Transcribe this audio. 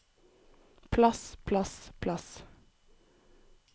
plass plass plass